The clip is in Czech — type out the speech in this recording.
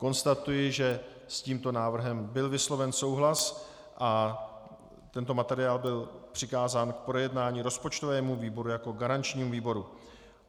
Konstatuji, že s tímto návrhem byl vysloven souhlas a tento materiál byl přikázán k projednání rozpočtovému výboru jako garančnímu výboru.